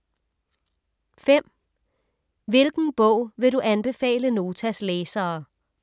5) Hvilken bog vil du anbefale Notas læsere?